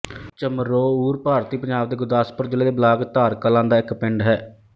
ਚਮਰੋਊਰ ਭਾਰਤੀ ਪੰਜਾਬ ਦੇ ਗੁਰਦਾਸਪੁਰ ਜ਼ਿਲ੍ਹੇ ਦੇ ਬਲਾਕ ਧਾਰ ਕਲਾਂ ਦਾ ਇੱਕ ਪਿੰਡ ਹੈ